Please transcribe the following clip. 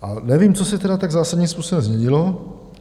A nevím, co se tedy tak zásadním způsobem změnilo.